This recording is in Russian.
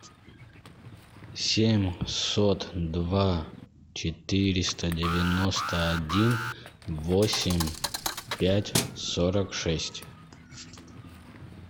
семьсот два четыреста девяносто один восемь пять сорок шесть